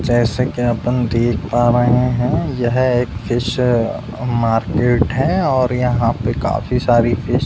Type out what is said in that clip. जैसे कि अपन देख पा रहे हैं यह एक फिश मार्केट है और यहां पे काफी सारी फिश --